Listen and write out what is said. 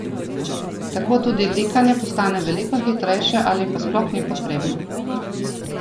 Tako tudi likanje postane veliko hitrejše ali pa sploh ni potrebno.